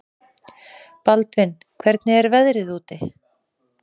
Baldvin, hvernig er veðrið úti?